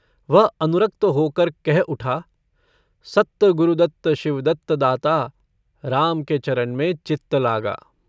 वह अनुरक्त होकर कह उठा सत्त गुरदत्त शिवदत्त दाता राम के चरन में चित्त लागा।